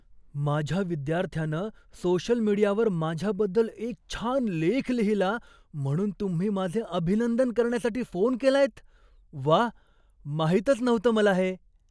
माझ्या विद्यार्थ्यानं सोशल मीडियावर माझ्याबद्दल एक छान लेख लिहिला म्हणून तुम्ही माझे अभिनंदन करण्यासाठी फोन केलायत? व्वा, माहितच नव्हतं मला हे.